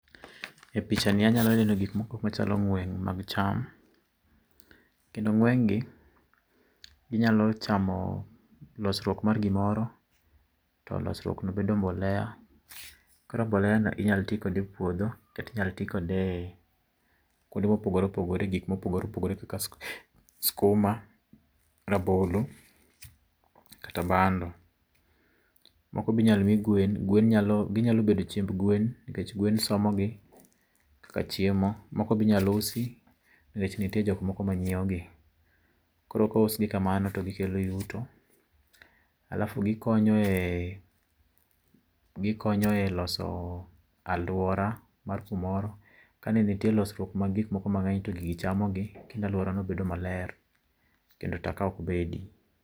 E pichani anyalo neno gik moko machalo ng'wen mag cham. Kendo ng'engi ginyalo chamo losruok mar gimoro to losruok no bedo mbolea. Koro mbolea no inyalo ti kode epuodho, inyalo ti kode kuond mopogor opogore, e gik mopogore opogore kaka sukuma, rabolo kata bando. Moko be inyalo mi gwen. Gwen nyalo ginyalo bedo chiemb gwen nikech gwen somogi kaka chiemo. Moko be inyalo usi nikech nitie jok moko manyiewogi. Koro kous gi kamano to gikelo yuto. alafu gikonyoe gikonyoe loso aluora mar kumoro. Kane nitie losruok mag gik moko mang'eny to gigi chamogi kendo aluorano bedo maler, kendo taka ok bedi.